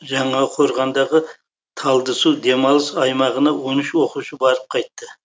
жаңақорғандағы талдысу демалыс аймағына он үш оқушы барып қайтты